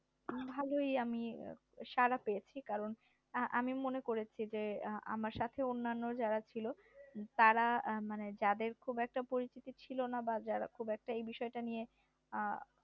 ভালোই আমি সাড়া পেয়েছি কারণ আমি মনে করেছি যে আমার সাথে অন্যান্য যারা ছিল তারা মানে যাদের খুব একটা পরিচিতি ছিল না বা যারা খুব একটা এই বিষয়টা নিয়ে